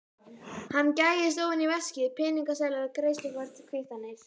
Hann gægist ofan í veskið, peningaseðlar, greiðslukort, kvittanir.